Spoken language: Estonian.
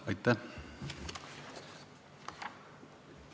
Aitäh!